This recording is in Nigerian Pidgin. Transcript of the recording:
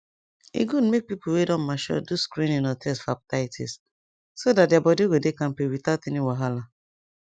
uhm my uncle bin sick make i no lie and na because e no follow hiv advice